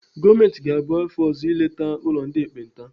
Gọọmenti ga-abịa afọ ọzọ ileta ụlọ ndị ekpenta.